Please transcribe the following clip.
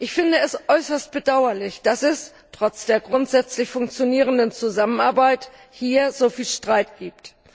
Ich finde es äußerst bedauerlich, dass es trotz der grundsätzlich funktionierenden Zusammenarbeit hier so viel Streit gibt.